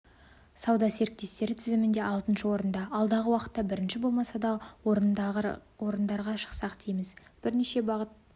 сауда серіктестері тізімінде алтыншы орында алдағы уақытта бірінші болмаса да орындарға шықсақ дейміз бірнеше бағыт